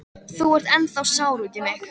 Þú ert ennþá sár út í mig.